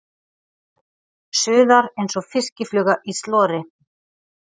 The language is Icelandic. Suðar einsog fiskifluga í slori.